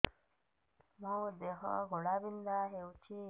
ମୋ ଦେହ ଘୋଳାବିନ୍ଧା ହେଉଛି